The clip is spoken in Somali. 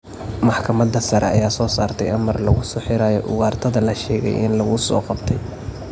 Maxkamada sare ayaa soo saartay amar lagu soo xirayo ugaartada la sheegay in lagu soo qabtay.